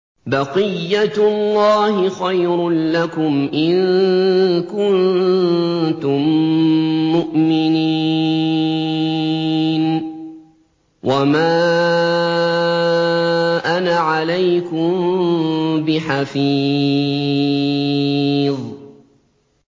بَقِيَّتُ اللَّهِ خَيْرٌ لَّكُمْ إِن كُنتُم مُّؤْمِنِينَ ۚ وَمَا أَنَا عَلَيْكُم بِحَفِيظٍ